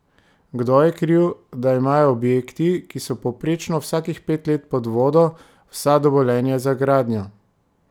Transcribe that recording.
Kdo je kriv, da imajo objekti, ki so povprečno vsakih pet let pod vodo, vsa dovoljenja za gradnjo?